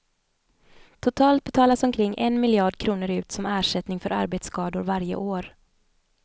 Totalt betalas omkring en miljard kronor ut som ersättning för arbetsskador varje år.